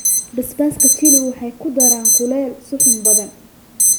Basbaaska Chili waxay ku daraan kulayl suxuun badan.